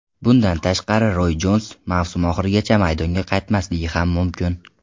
Bundan tashqari Roys mavsum oxirigacha maydonga qaytmasligi ham mumkin.